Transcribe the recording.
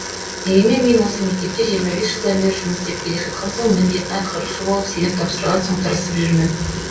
дегенмен мен осы мектепте жиырма бес жылдан бері жұмыс істеп келе жатқан соң міндетін атқарушы болып сеніп тапсырған соң тырысып жүрмін